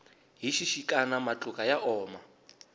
hi xixikana matluka ya oma